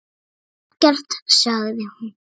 Ekkert, sagði hún.